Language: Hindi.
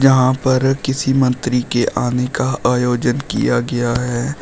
यहां पर किसी मंत्री के आने का आयोजन किया गया है।